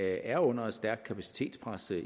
er under et stærkt kapacitetspres det er